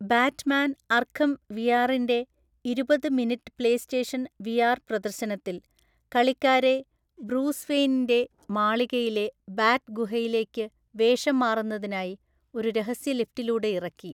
Batman Arkham വിആറിന്റെ ഇരുപത് minute PlayStation VR പ്രദർശനത്തിൽ, കളിക്കാരെ ബ്രൂസ് വെയ്‌നിന്റെ മാളികയിലെ ബാറ്റ് ഗുഹയിലേക്ക് വേഷം മാറുന്നതിനായി ഒരു രഹസ്യ ലിഫ്റ്റിലൂടെ ഇറക്കി.